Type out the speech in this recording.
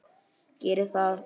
Geri það!